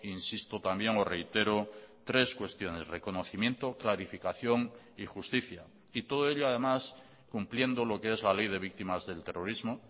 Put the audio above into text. insisto también o reitero tres cuestiones reconocimiento clarificación y justicia y todo ello además cumpliendo lo que es la ley de víctimas del terrorismo